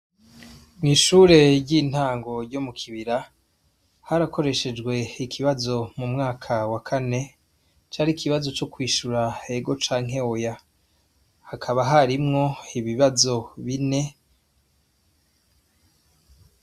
Mw'ishure ry'intango ryo mu Kibira, harakoreshejwe ikibazo mu mwaka wa kane, cari ikibazo co kwishura ego canke oya, hakaba harimwo ibibazo bine.